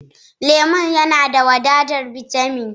Lemon yana da wadatar bitamin